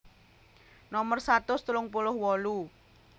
Nomer satus telung puluh wolu